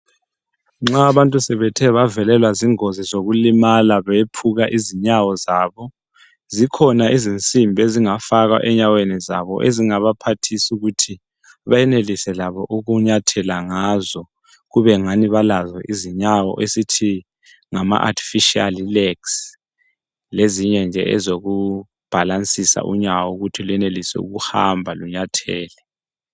Nxa abantu sebethe bavelelwa zingozi zokulimala bephuka izinyawo zabo, zikhona izinsimbi ezingafakwa enyaweni zabo ezingabaphathisa ukuthi benelise labo ukunyathela ngazo kubengani balazo izinyawo esithi ngama artificial legs lezinye nje ezokubhalansisa unyawo ukuthi lwenelise ukuhamba, lunyathele.